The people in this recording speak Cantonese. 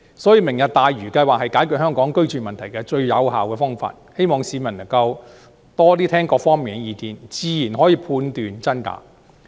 所以，"明日大嶼"計劃是解決香港居住問題的最有效方法，希望市民能夠多聽各方面的意見，自然可以判斷真假。